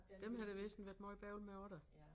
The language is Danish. Dem har der vist været meget bøvl med også da